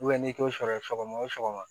n'i t'o sɔrɔ sɔgɔma o sɔgɔma